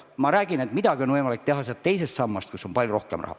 Ma räägin, et midagi on võimalik teha teise samba abil, kus on palju rohkem raha.